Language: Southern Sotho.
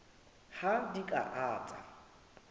ha di a ka tsa